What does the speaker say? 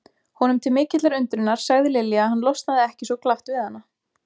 Honum til mikillar undrunar sagði Lilja að hann losnaði ekki svo glatt við hana.